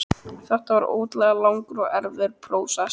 Þetta var ótrúlega langur og erfiður prósess.